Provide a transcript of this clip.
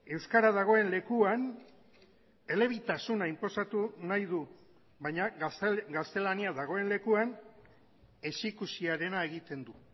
euskara dagoen lekuan elebitasuna inposatu nahi du baina gaztelania dagoen lekuan ezikusiarena egiten du